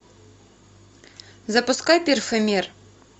запускай перфомер